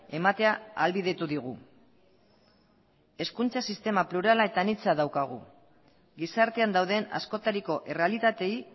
ematea ahalbidetu digu hezkuntza sistema plurala eta anitza daukagu gizartean dauden askotariko errealitatei